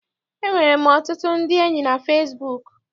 Enwere m ọtụtụ ndị enyi na fesibuuku.